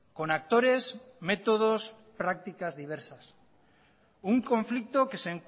con actores métodos y prácticas diversas un conflicto que